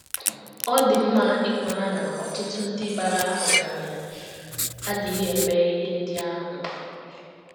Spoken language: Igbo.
Ọ dị mma ịmara na ọtụtụ ndị bara ọgaranya adịghị eme ihe ndị ahụ.